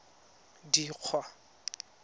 dikgwa